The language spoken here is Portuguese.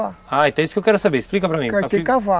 Ah, então é isso que eu quero saber, explica para mim, tem que cavar